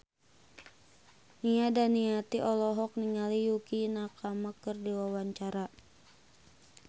Nia Daniati olohok ningali Yukie Nakama keur diwawancara